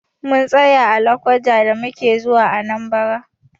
Mun tsaya a lokoja da muke zuwa Anambra.